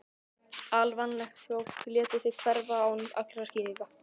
Alvanalegt að fólk léti sig hverfa án allra skýringa.